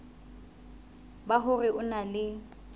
ba hore o na le